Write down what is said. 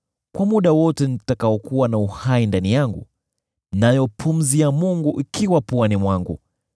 kwa muda wote nitakaokuwa na uhai ndani yangu, nayo pumzi ya Mungu ikiwa puani mwangu,